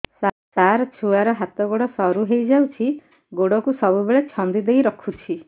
ସାର ଛୁଆର ହାତ ଗୋଡ ସରୁ ହେଇ ଯାଉଛି ଗୋଡ କୁ ସବୁବେଳେ ଛନ୍ଦିଦେଇ ରଖୁଛି